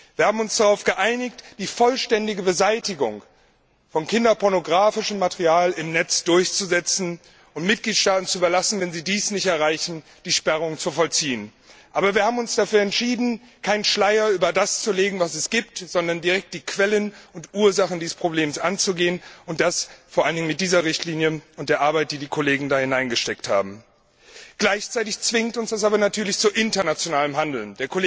Wir haben uns darauf geeinigt, die vollständige Beseitigung von kinderpornographischem Material im Netz durchzusetzen und es den Mitgliedstaaten zu überlassen, wenn sie dies nicht erreichen, die Sperrung zu vollziehen. Aber wir haben uns auch dafür entschieden, keinen Schleier über das zu legen, was es gibt, sondern die Quellen und die Ursachen dieses Problems anzugehen, und das vor allem mit dieser Richtlinie und mit der Arbeit, die die Kollegen darin investiert haben. Gleichzeitig zwingt uns das aber natürlich zu internationalem Handeln.